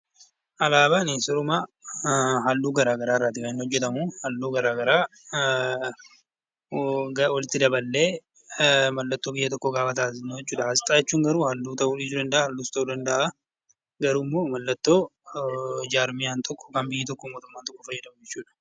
Alaabaani sirumaa halluu garaa garaa irraatii kan inni hojjetamu, halluu garaa garaa walitti daballee mallattoo biyya tokkoo gaafa taasisnu jechuu dha. Asxaa jechuun garuu halluu ta'uu dhiisuu danda'a, halluus ta'uu danda'a. Garuu immoo mallattoo jaarmiyaan tokko yookaan biyyi tokko mootummaa ta'uuf fayyadamu jechuu dha.